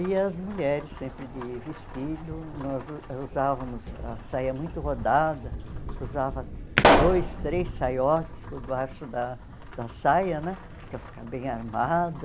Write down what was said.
E as mulheres, sempre de vestido, nós usávamos a saia muito rodada, usava dois, três saiotes por baixo da da saia né, para ficar bem armada.